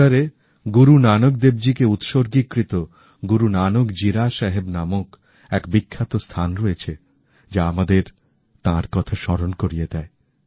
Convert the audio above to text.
বিদরেগুরুনানকদেবজীকেউৎসর্গিত গুরুনানক জীরা সাহেব নামক এক বিখ্যাত স্থান রয়েছে যা আমাদের তাঁর কথা স্মরণ করিয়ে দেয়